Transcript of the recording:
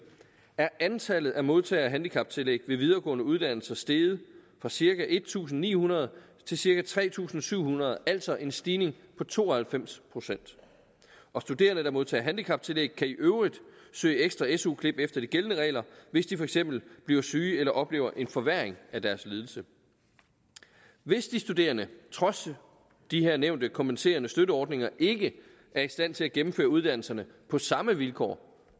er antallet af modtagere af handicaptillæg ved videregående uddannelser steget fra cirka en tusind ni hundrede til cirka tre tusind syv hundrede altså en stigning på to og halvfems procent studerende der modtager handicaptillæg kan i øvrigt søge ekstra su klip efter de gældende regler hvis de for eksempel bliver syge eller oplever en forværring af deres lidelse hvis de studerende trods de her nævnte kompenserende støtteordninger ikke er i stand til at gennemføre uddannelserne på samme vilkår